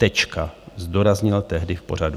Tečka, zdůraznil tehdy v pořadu.